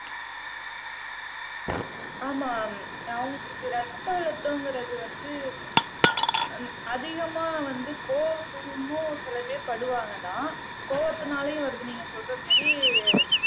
ஆமா அவங்களுக்கு ரத்த அழுத்தங்கிறது வந்து உம் அதிகமா வந்து கோவமும் சில பேர் படுவாங்கதான் கோபத்துனாலையும் வருது நீங்க சொல்ற மாதிரி